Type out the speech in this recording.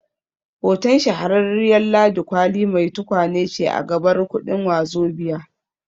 Hoton Shahararriyar Ladi Kwali mai tukwane ce a gabar kuɗin Wazobia